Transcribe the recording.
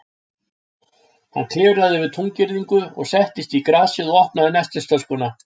Hann klifraði yfir túngirðingu og settist í grasið og opnaði nestistöskuna.